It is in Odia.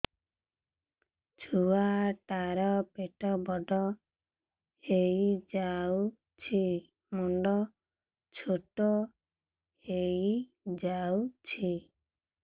ଛୁଆ ଟା ର ପେଟ ବଡ ହେଇଯାଉଛି ମୁଣ୍ଡ ଛୋଟ ହେଇଯାଉଛି